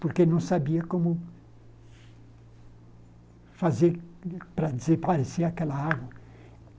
Porque não sabia como fazer para desaparecer aquela água.